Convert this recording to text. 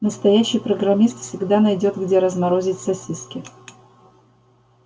настоящий программист всегда найдёт где разморозить сосиски